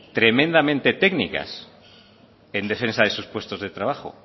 tremendamente técnicas en defensa de sus puestos de trabajo